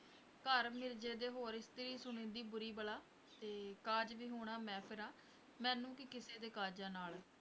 ਘਰ ਮਿਰਜ਼ੇ ਦੇ ਹੋਰ ਇਸਤਰੀ ਸੁਣੀਂਦੀ ਬੁਰੀ ਬਲਾ, ਤੇ ਕਾਜ ਵਿਹੁਣਾ ਮੈਂ ਫਿਰਾਂ, ਮੈਨੂੰ ਕੀ ਕਿਸੇ ਦੇ ਕਾਜਾਂ ਨਾਲ।